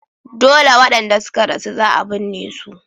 Dole wadanda suka rasu za a binne su.